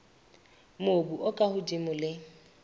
mobu o ka hodimo le